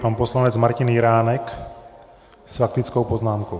Pan poslanec Martin Jiránek s faktickou poznámkou.